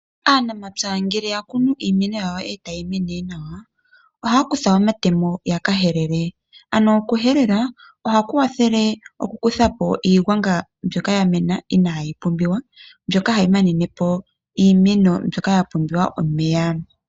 Aanamapya ngele ya kunu iimeno yawo etayi mene nawa. Ohaya kutha omatemo ya kahelele ano oku helela ohaku kwathele oku kuthapo iigwanga mbyoka ya mena inayi pumbiwa mbyoka hayi manenepo iimeno mbyoka yapumbwa omeya .